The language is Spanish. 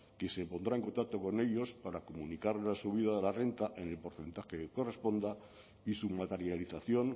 quien se pondrá en contacto con ellos para comunicar la subida de la renta en el porcentaje que corresponda y su materialización